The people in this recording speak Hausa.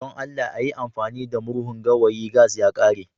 don Allah a yi amfani da murhun gawayi gas ya ƙare